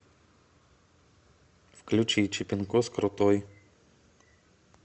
включи чипинкос крутой